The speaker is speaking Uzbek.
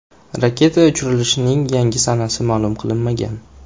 Raketa uchirilishining yangi sanasi ma’lum qilinmagan.